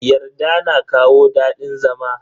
Yarda na kawo dadin zama.